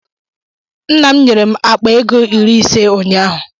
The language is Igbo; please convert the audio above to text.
Nna m nyere m akpa ego iri ise ụnyaahụ.